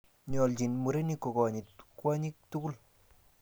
nyolchini murenik kokonyit kwonyik tugul